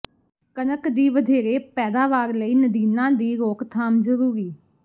ਕਣਕ ਦੀ ਵਧੇਰੇ ਪੈਦਾਵਾਰ ਲਈ ਨਦੀਨਾਂ ਦੀ ਰੋਕਥਾਮ ਜ਼ਰੂਰੀ